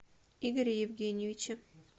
игоре евгеньевиче